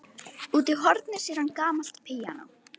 Úti í horni sér hann gamalt píanó.